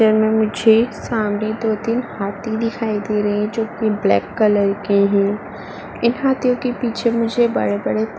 मुझे सामने दो तीन हाथी दिखाई दे रही है जोकि ब्लैक कलर के हैं। इन हाथियों के पीछे मुझे बड़े-बड़े --